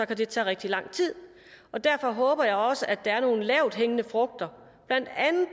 det tage rigtig lang tid derfor håber jeg også at der er nogle lavthængende frugter blandt andet